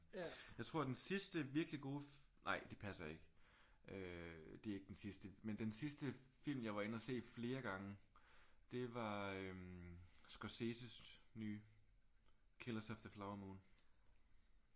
Jeg tror at den sidste virkelig gode nej det passer ikke. Øh det er ikke den sidste. Men den sidste film jeg var inde at se flere gange det var Scorseses nye. Killers of the Flower Moon